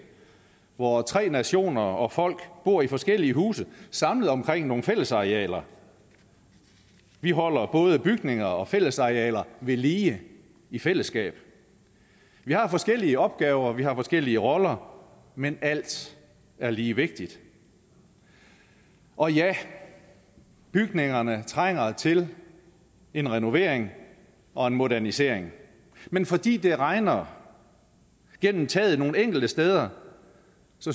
hvor tre nationer og folk bor i forskellige huse samlet omkring nogle fællesarealer vi holder både bygninger og fællesarealer ved lige i fællesskab vi har forskellige opgaver og vi har forskellige roller men alt er lige vigtigt og ja bygningerne trænger til en renovering og modernisering men fordi det regner gennem taget nogle enkelte steder